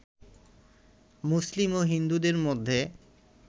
মুসলিম ও হিন্দুদের মধ্যে